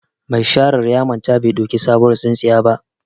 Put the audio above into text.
Ma sharar ya manta bai ɗauki sabuwar tsintsiyan ba.